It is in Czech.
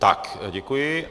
Tak děkuji.